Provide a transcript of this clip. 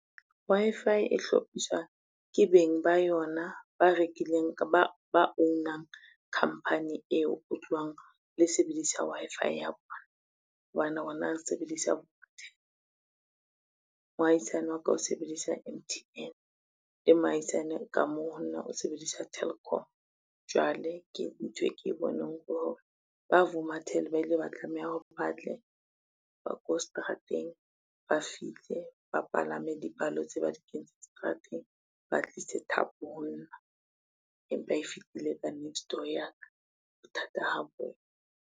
Wi-Fi e hlophiswa ke beng ba yona ba own-ang khampani eo o tlowang le sebedisa Wi-Fi ya bona, hobane rona re sebedisa . Mohaisane wa ka o sebedisa M_T_N le mohaisane ka mo ho nna o sebedisa Telkom, jwale ke nthwe ke e boneng ho hore ba Vuma tel ba ile ba tlameha hore batle, ba ko seterateng ba fihle bapalame dipalo tse ba di kentseng seterateng, ba tlise thapo ho nna empa e fitile ka nextdoor ya ka bothata ha boyo.